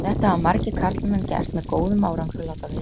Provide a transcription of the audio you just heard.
Þetta hafa margir karlmenn gert með góðum árangri, og láta vel af.